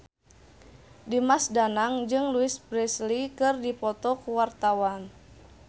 Dimas Danang jeung Louise Brealey keur dipoto ku wartawan